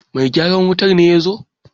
Mai gyaran wutar ne ya zo!